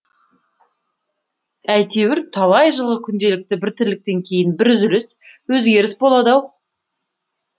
әйтеуір талай жылғы күнделікті бір тірліктен кейін бір үзіліс өзгеріс болды ау